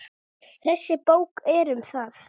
Þessi bók er um það.